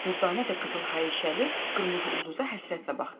Dürdanə də qızıl hayişəli qırmızı ulduza həsrətlə baxdı.